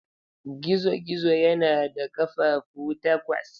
Gizo-gizo yana da ƙafafu takwas.